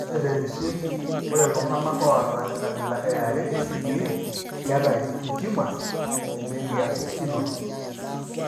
Ore temisili, ore iltung'anak oata enkabila eare eCDA keata intumors emediastinal.